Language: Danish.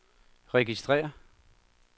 registrér